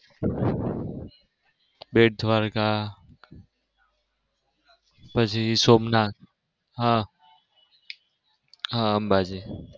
બેટદ્વારકા પછી સોમનાથ, હા હા અંબાજી.